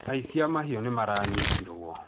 Aici a mahiũ nĩ maranyitirũo.